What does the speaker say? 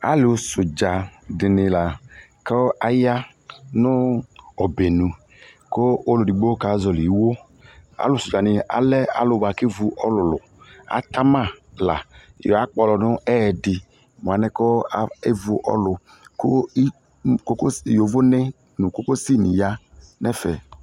Alu sudza se ne la ko aya no ɔbɛnu ko ɔdigbo ka zɔle iwoAlusua ne alɛ alu boa kevu ɔluluAta ma la do akplɔ no ɛdi mo anɛ ko evu ɔlu ko ikokos, yovone no kokosi ne ya nɛfɛ